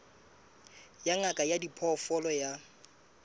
ya ngaka ya diphoofolo ya